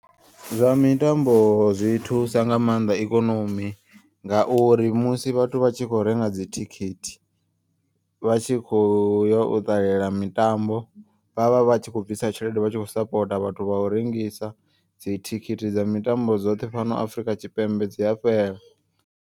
Zwa mitambo zwi thusa nga maanḓa ikonomi ngauri musi vhathu vhatshi kho renga dzithikhithi. Vhatshi kho yo u ṱalela mitambo vhavha vhatshi kho bvisa tshelede vhatshi kho sapota. Vhathu vha u rengisa dzithikhithi dza mitambo dzoṱhe fhano Afrika Tshipembe dzi a fhela.